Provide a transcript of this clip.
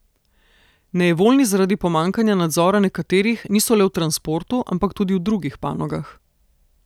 Nejevoljni zaradi pomanjkanja nadzora nekaterih niso le v transportu, ampak tudi v drugih panogah.